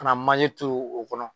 Ka na manje turu o kɔnɔ.